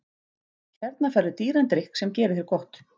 Hérna færðu dýran drykk sem gerir þér gott.